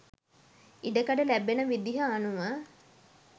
ඉඩකඩ ලැබෙන විදිහ අනුව